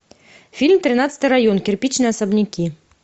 фильм тринадцатый район кирпичные особняки